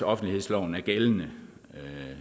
offentlighedsloven er gældende